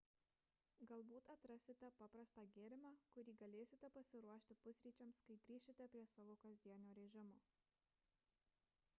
galbūt atrasite paprastą gėrimą kurį galėsite pasiruošti pusryčiams kai grįšite prie savo kasdienio režimo